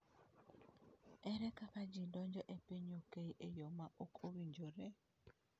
Ere kaka ji donjo e piny UK e yo ma ok owinjore?